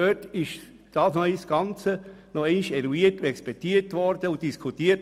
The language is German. Dort wurde das Ganze ein zweites Mal eruiert, expertiert und diskutiert.